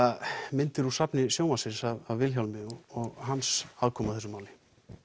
myndir úr safni sjónvarpsins af Vilhjálmi og hans aðkomu að þessu máli